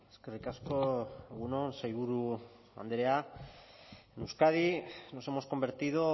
eskerrik asko egun on sailburu andrea en euskadi nos hemos convertido